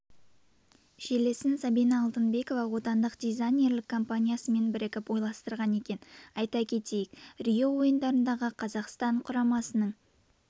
желісін сабина алтынбекова отандық дизайнерлік компаниясымен бірігіп ойластырған екен айта кетейік рио ойындарындағы қазақстан құрамасының